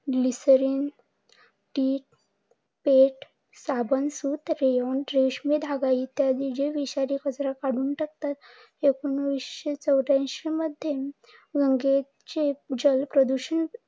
लीसरीन, टीठ, साधं सुत, रयोन रेशमी धागा इत्यादी जे विषारी कचरा काढून टाकतात. एकोणीसशे चौऱ्यांशी मध्ये गंगेचे जल प्रदूषण